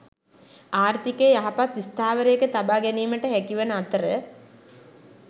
ආර්ථිකය යහපත් ස්ථාවරයක තබා ගැනීමට හැකිවන අතර